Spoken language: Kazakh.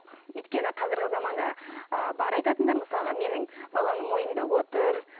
өйткені қазіргі заманда ыыы бар айтатындары мысалға менің баламның мойнында отыр